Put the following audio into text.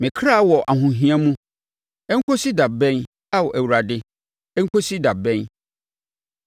Me kra wɔ ahohia mu. Ɛnkɔsi da bɛn, Ao Awurade, ɛnkɔsi da bɛn?